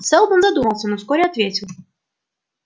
сэлдон задумался но вскоре ответил